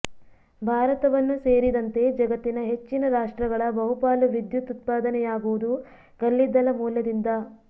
ಭಾರತವನ್ನು ಸೇರಿದಂತೆ ಜಗತ್ತಿನ ಹೆಚ್ಚಿನ ರಾಷ್ಟ್ರಗಳ ಬಹುಪಾಲು ವಿದ್ಯುತ್ ಉತ್ಪಾದನೆಯಾಗುವುದು ಕಲ್ಲಿದ್ದಲ ಮೂಲದಿಂದ